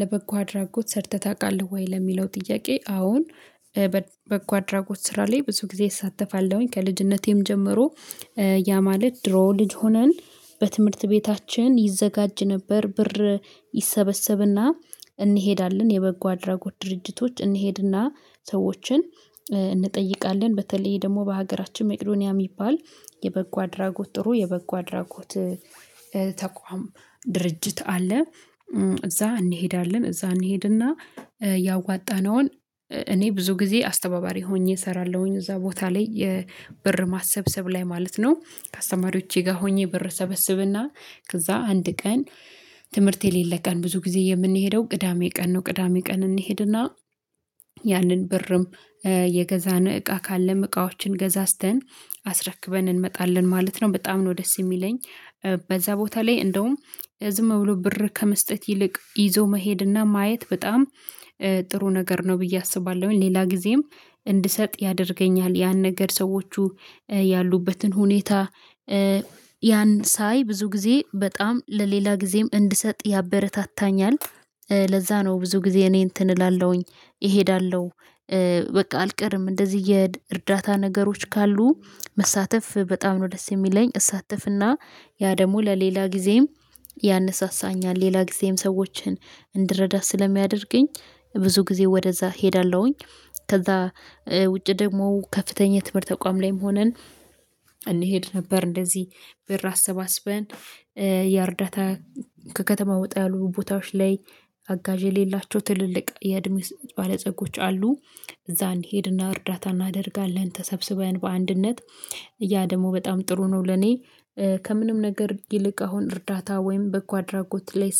ለበጎ አድራጎት ሰርተህ ታውቃለህ ወይ? ለሚለው ጥያቄ አወን በበጎ አድራጎት ስራ ላይ ብዙ ጊዜ እሳተፋለሁኝ ከልጅነቴም ጀምሮ። ያ ማለት ድሮ ልጅ ሆነን በትምህርት ቤታችን ይዘጋጅ ነበር ብር ይሰበሰብና እንሄዳለን የበጎ አድራጎት ድርጅቶች እንሄድና ሰዎችን እንጠይቃለን በተለይ ደግሞ በሀገራችን መቄዶንያ የሚባል የበጎ አድራጎት ጥሩ የበጎ አድራጎት ተቋም ድርጅት አለ። እዛ እንሄዳለን እዛ እንሄድና ያዋጣነውን እኔ ብዙ ጊዜ አስተባባሪ ሆኜ እሰራለሁኝ እዛ ቦታ ላይ የብር ማሰብሰብ ላይ ማለት ነው። ከአስተማሪዎቼ ጋር ሆኜ ብር እሰበስብና ከዛ አንድ ቀን ትምህርት የሌለ ቀን ብዙ ጊዜ የምንሄደው ቅዳሜ ቀን ነው ቅዳሜ ቀን እንሄድና ያንን ብርም የገዛን እቃ ካለም እቃዎችን ገዛዝተን አስረክበን እንመጣለን ማለት ነው። በጣም ነው ደስ የሚለኝ በዛ ቦታ ላይ እንደውም ዝም ብሎ ብር ከመስጠት ይልቅ ይዞ መሄድና ማየት በጣም ጥሩ ነገር ነው ብዬ አስባለሁኝ። ሌላ ጊዜም እንድሰጥ ያደርገኛል ያን ነገር ሰዎቹ ያሉበትን ሁኔታ ያን ሳይ ብዙ ጊዜ በጣም ለሌላ ጊዜም እንድሰጥ ያበረታታኛል። ለዛ ነው ብዙ ጊዜ እኔ እንትን እላለሁኝ እሄዳለሁ በቃ አልቀርም እንደዚህ እየእርዳታ ነገሮች ካሉ መሳተፍ በጣም ነው ደስ የሚለኝ እሳተፍና ያ ደግሞ ለሌላ ጊዜም ያነሳሳኛል ሌላ ጊዜም ሰዎችን እንድረዳ ስለሚያደርገኝ ብዙ ጊዜ ወደዛ እሄዳለሁኝ። ከዛ ውጪ ደግሞ ከፍተኛ ትምህርት ተቋም ላይም ሆነን እንሄድ ነበር እንደዚህ ብር አሰባስበን የእርዳታ ከከተማ ወጣ ያሉ ቦታዎች ላይ አጋዥ የሌላቸው ትልልቅ የእድሜ ባለጸጎች አሉ እዛ እንሄድና እርዳታ እናደርጋለን ተሰብስበን በአንድነት ያ ደግሞ በጣም ጥሩ ነው። ለኔ ከምንም ነገር ይልቅ አሁን እርዳታ ወይም በጎ አድራጎት ላይ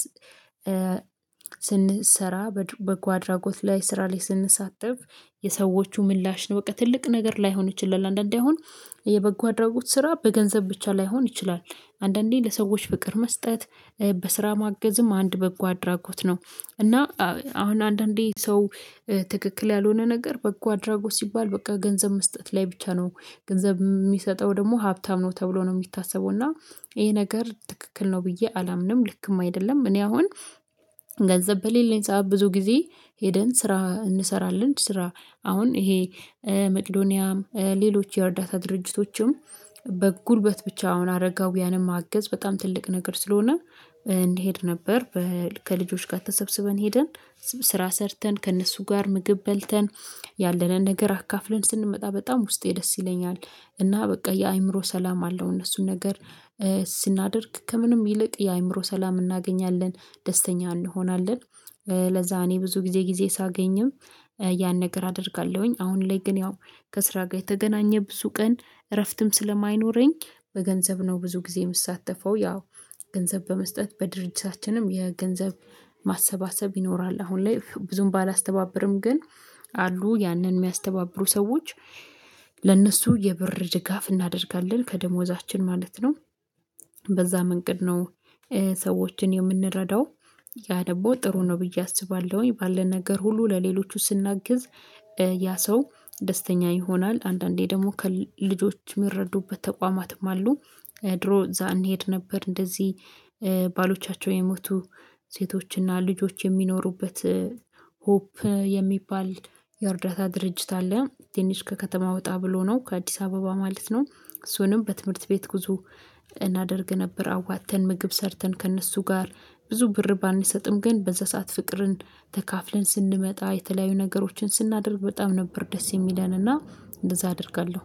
ስንሰራ በጎ አድራጎት ላይ ስራ ላይ ስንሳተፍ የሰዎቹ ምላሽ ነው በቃ ትልቅ ነገር ላይሆን ይችላል። አንዳንዴ አሁን የበጎ አድራጎት ስራ በገንዘብ ብቻ ላይሆን ይችላል አንዳንዴ ለሰዎች ፍቅር መስጠት በስራ ማገዝም አንድ በጎ አድራጎት ነው። እና አሁን አንዳንዴ ሰው ትክክል ያልሆነ ነገር በጎ አድራጎት ሲባል በቃ ገንዘብ መስጠት ላይ ብቻ ነው ገንዘብ የሚሰጠው ደግሞ ሀብታም ነው ተብሎ ነው የሚታሰበው እና ይሄ ነገር ትክክል ነው ብዬ አላምንም ልክም አይደለም። እኔ አሁን ገንዘብ በሌለኝ ሰዓት ብዙ ጊዜ ሄደን ስራ እንሰራለን ስራ አሁን ይሄ መቄዶኒያም ሌሎች የእርዳታ ድርጅቶችም በጉልበት ብቻ አሁን አረጋውያንም ማገዝ በጣም ትልቅ ነገር ስለሆነ እንሄድ ነበር። ከልጆች ጋር ተሰብስበን ሄደን ስራ ሰርተን ከእነሱ ጋር ምግብ በልተን ያለንን ነገር አካፍለን ስንመጣ በጣም ውስጤ ደስ ይለኛል እና በቃ የአእምሮ ሰላም አለው እነሱን ነገር ስናደርግ ከምንም ይልቅ የአእምሮ ሰላም እናገኛለን ደስተኛ እንሆናለን። ለዛ እኔ ብዙ ጊዜ ጊዜ ሳገኝም ያን ነገር አደርጋለሁኝ አሁን ላይ ግን ያው ከስራ ጋር የተገናኘ ብዙ ቀን እረፍትም ስለማይኖረኝ በገንዘብ ነው ብዙ ጊዜ የምትሳተፈው ያው ገንዘብ በመስጠት በድርጅታችንም የገንዘብ ማሰባሰብ ይኖራል። አሁን ላይ ብዙም ባላስተባብርም ግን አሉ ያንን የሚያስተባብሩ ሰዎች ለእነሱ የብር ድጋፍ እናደርጋለን ከደሞዛችን ማለት ነው። በዛ መንቀድ ነው ሰዎችን የምንረዳው ያ ደግሞ ጥሩ ነው ብዬ አስባለሁኝ ባለን ነገር ሁሉ ለሌሎቹ ስናግዝ ያ ሰው ደስተኛ ይሆናል አንዳንዴ ደግሞ ከ ልጆች የሚረዱበት ተቋማትም አሉ። ድሮ እዛ እንሄድ ነበር እንደዚህ ባሎቻቸው የሞቱ ሴቶችና ልጆች የሚኖሩበት ሆፕ የሚባል የእርዳታ ድርጅት አለ ትንሽ ከከተማ ወጣ ብሎ ነው ከአዲስ አበባ ማለት ነው። እሱንም በትምህርት ቤት ጉዞ እናደርግ ነበር አዋጥተን ምግብ ሰርተን ከእነሱ ጋር ብዙ ብር ባንሰጥም ግን በዛ ሰዓት ፍቅርን ተካፍለን ስንመጣ የተለያዩ ነገሮችን ስናደርግ በጣም ነበር ደስ የሚለንና እንደዛ አደርጋለሁ